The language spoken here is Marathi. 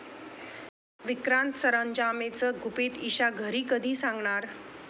विक्रांत सरंजामेचं गुपित ईशा घरी कधी सांगणार?